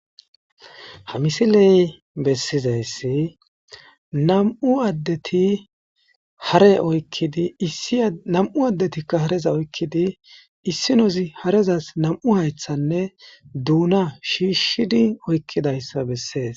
Ha misiley bessizayssi nam'u addeti hare oykkidi issi nam'u addetikka hareza oykkidi issinozi harezas nam'u haythanne duuna shiishshidi oykkidayssa bessees.